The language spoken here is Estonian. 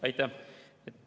Aitäh!